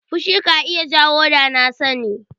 Fushi ka iya jawo danasani.